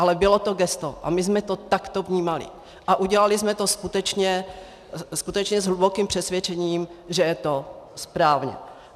Ale bylo to gesto a my jsme to takto vnímali a udělali jsme to skutečně s hlubokým přesvědčením, že je to správně.